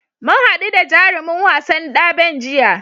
Mu haɗu da jarumin wasan daɓen jiya.